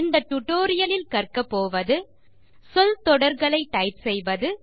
இந்த டுடோரியலில் கற்கப்போவது சொல் தொடர்களை டைப் செய்வது